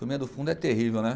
Turminha do fundo é terrível, né?